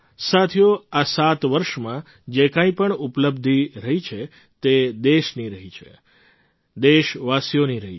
સાથીઓ આ સાત વર્ષમાં જે કંઈ પણ ઉપલબ્ધિ રહી છે તે દેશની રહી છે દેશવાસીઓની રહી છે